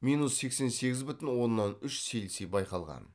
минус сексен сегіз бүтін оннан үш цельсий байқалған